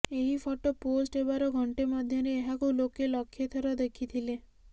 ଏହି photo post ହେବାର ଘଣ୍ଟେ ମଧ୍ୟରେ ଏହାକୁ ଲୋକେ ଲକ୍ଷେ ଥର ଦେଖିଥିଲେ